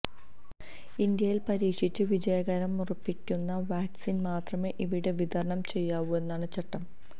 ഇന്ത്യയിൽ പരീക്ഷിച്ച് വിജയമുറപ്പിക്കുന്ന വാക്സിൻ മാത്രമേ ഇവിടെ വിതരണം ചെയ്യാവൂ എന്നാണ് ചട്ടം